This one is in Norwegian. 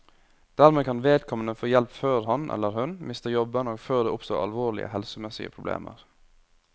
Dermed kan vedkommende få hjelp før han, eller hun, mister jobben og før det oppstår alvorlige helsemessige problemer.